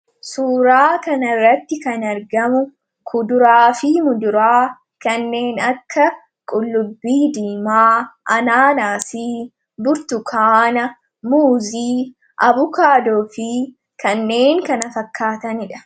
Suuraa kana irratti kan argamu kuduraa fi muduraa kanneen akka qullubbii diimaa, anaanaasii, burtukaana, muuzii abukaadoo fi kanneen kana fakkaataniidha.